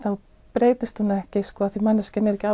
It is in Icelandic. breytist hún ekki af því að manneskjan er ekki